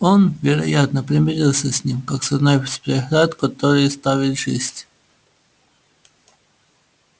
он вероятно примирился с ним как с одной из преград которые ставит жизнь